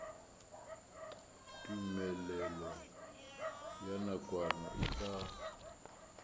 tumelelo ya nakwana e tla